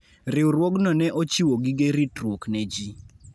Riwruogno ne ochiwo gige ritruok ne ji.